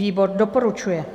Výbor doporučuje.